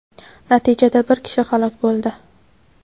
Natijada bir kishi halok bo‘ldi.